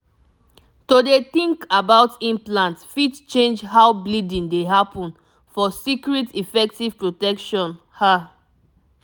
to dey think about implant fit change how bleeding dey happen for secret effective protection ah